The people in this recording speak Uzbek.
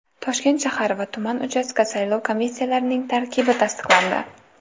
Toshkent shahar va tuman uchastka saylov komissiyalarining tarkibi tasdiqlandi.